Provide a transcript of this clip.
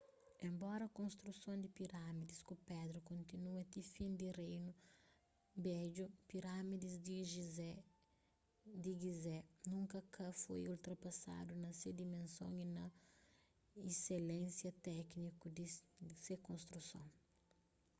enbora konstruson di pirâmidis ku pedra kontinua ti fin di reinu bedju pirâmidis di gizé nunka ka foi ultrapasadu na se dimenson y na issilénsia téniku di se konstruson